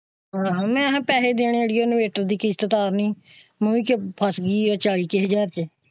ਹਾਂ ਹਾਂ ਮੈਂ ਨੇ ਪੈਸੇ ਦੇਣੇ ਹੈ ਅੜੀਏ ਇਨਵੇਰਟਰ ਦੀ ਕਿਸ਼ਤ ਤਾਰਨੀ ਹੈ ਫਸ ਗਈ ਹੈ ਚਾਲੀ ਹਾਜਰ ਵਿੱਚ।